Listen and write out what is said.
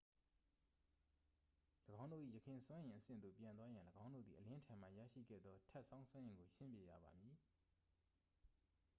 ၎င်းတို့၏ ယခင်စွမ်းအင်အဆင့်သို့ပြန်သွားရန် ၎င်းတို့သည် အလင်းထံမှရရှိခဲ့သော ထပ်ဆောင်းစွမ်းအင်ကို ရှင်းပစ်ရပါမည်